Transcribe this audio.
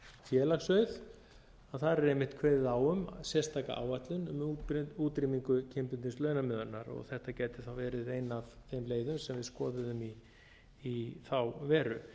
bókstafslið félagsauður að þar er einmitt kveðið á um sérstaka áætlun um útrýmingu kynbundins launamunar og þetta gæti þá verið ein af þeim leiðum sem við skoðuðum í þá veru